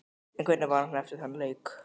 En hvernig var hann eftir þann leik?